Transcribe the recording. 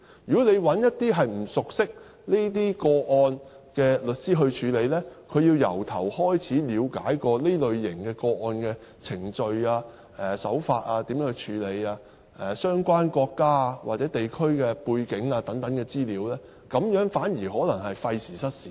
如果找一些不熟悉這些個案的律師處理，他便要從頭開始了解這類個案的程序、處理手法、相關國家或地區的背景等資料，反而可能是費時失事。